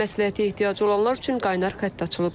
Tibbi məsləhətə ehtiyacı olanlar üçün qaynar xətt açılıb.